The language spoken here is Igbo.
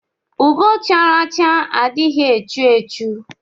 Ugo chara acha adighi echu echu.